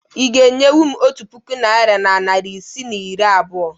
Ị ga-enyenwu m otu puku naịra na narị isii na iri abụọ?